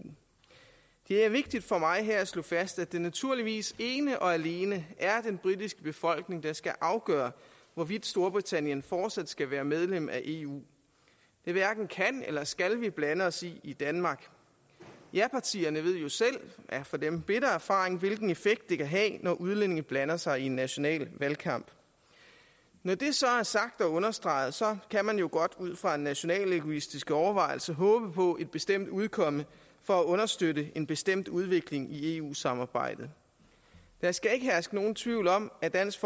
det er vigtigt for mig her at slå fast at det naturligvis ene og alene er den britiske befolkning der skal afgøre hvorvidt storbritannien fortsat skal være medlem af eu det hverken kan eller skal vi blande os i i danmark japartierne ved jo selv af for dem bitter erfaring hvilken effekt det kan have når udlændinge blander sig i en national valgkamp når det så er sagt og understreget kan man jo godt ud fra nationalegoistiske overvejelser håbe på et bestemt udkomme for at understøtte en bestemt udvikling i eu samarbejdet der skal ikke herske nogen tvivl om at dansk